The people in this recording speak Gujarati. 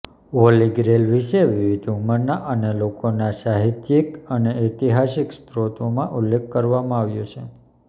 હોલી ગ્રેઇલ વિશે વિવિધ ઉંમરના અને લોકોના સાહિત્યિક અને ઐતિહાસિક સ્રોતોમાં ઉલ્લેખ કરવામાં આવ્યો છે